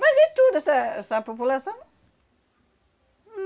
Mas e toda essa essa população?